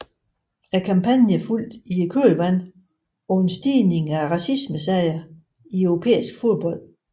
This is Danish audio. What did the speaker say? Kampagnen fulgte i kølvandet på en stigning i racismesager i europæisk fodbold